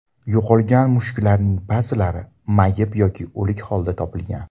Yo‘qolgan mushuklarning ba’zilari mayib yoki o‘lik holda topilgan.